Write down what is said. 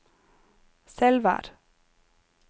Selvær